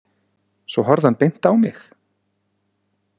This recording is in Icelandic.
Svo horfði hann beint á mig.